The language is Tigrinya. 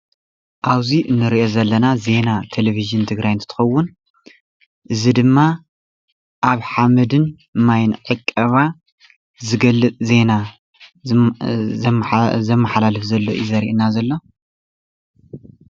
ኣብዚ ንሪኦ ዘለና ዜና ቴለቭዥን ትግራይ እንትትከዉን እዚ ድማ ኣብ ሓመድን ማይን ዕቀባ ዝገልፅ ዜና ዘመሓላልፍ ዘሎ እዩ ዘረኢና ዘሎ።